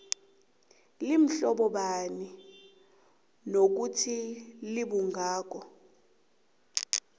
limhlobobani nokuthi libungako